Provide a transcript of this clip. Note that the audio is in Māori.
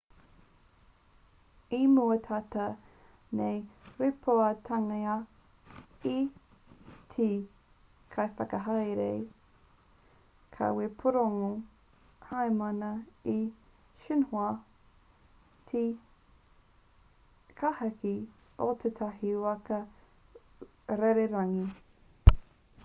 i mua tata nei i rīpoatangia e te kaiwhakahaere kawepūrongo hainamana e xinhua te kāhaki o tētahi waka rererangi